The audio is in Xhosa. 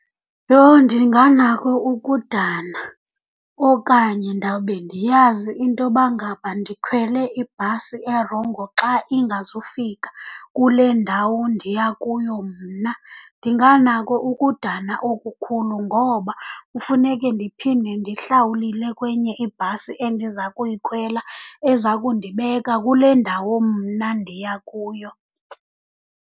Yho, ndinganako ukudana! Okanye ndawube ndiyazi intoba ngaba ndikhwele ibhasi erongo xa ingazufika kule ndawo ndiya kuyo mna. Ndinganako ukudana okukhulu ngoba kufuneke ndiphinde ndihlawulile kwenye ibhasi endiza kuyikhwela eza kundibeka kule ndawo mna ndiya kuyo.